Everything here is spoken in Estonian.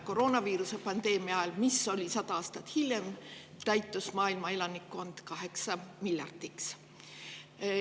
Koroonaviiruse pandeemia ajal, mis oli 100 aastat hiljem, 8 miljardi piiri.